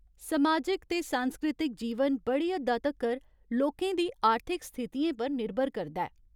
समाजिक ते सांस्कृतिक जीवन बड़ी हद्दा तक्कर लोकें दी आर्थिक स्थितियें पर निर्भर करदा ऐ।